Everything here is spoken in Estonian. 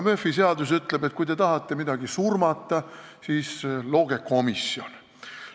Murphy seadus aga ütleb, et kui te tahate midagi surmata, siis looge komisjon.